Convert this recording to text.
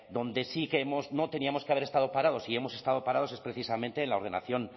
donde sí creemos no teníamos que haber estado parados si hemos estado parados es precisamente en la ordenación